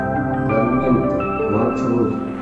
кармента маршрут